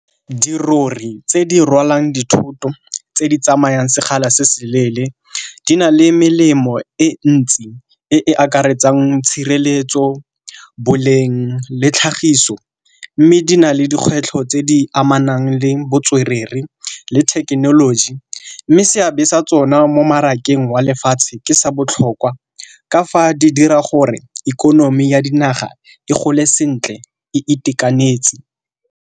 Dirori tse di rwalang dithoto tse di tsamayang sekgala se se leele di na le melemo e ntsi e e akaretsang tshireletso, boleng, le tlhagiso mme di na le dikgwetlho tse di amanang le botswerere le thekenoloji. Mme seabe sa tsona mo mmarakeng wa lefatshe ke sa botlhokwa ka fa di dira gore ikonomi ya dinaga e gole sentle e itekanetse.